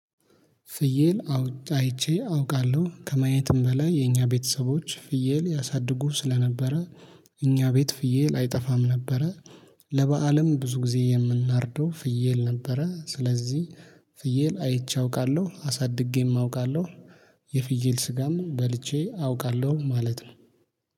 ፍየል አይቼ አውቃለሁ ከማየትም በላይ የኛ ቤተሰቦች ፍየል ያሳድጉ ስለነበረ እኛ ቤት ፍየል አይጠፋም ነበረ። ለበአለም ብዙ ጊዜ የምናርደው ፍየል ነበረ። ስለዚህ ፍየል አይቼ አውቃለሁ አሳድጌም አውቃለሁ። የፍየል ስጋም በልቼ አውቃለሁ ማለት ነው